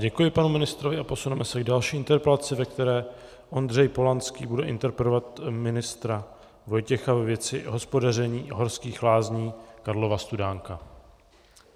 Děkuji panu ministrovi a posuneme se k další interpelaci, ve které Ondřej Polanský bude interpelovat ministra Vojtěcha ve věci hospodaření Horských lázní Karlova Studánka.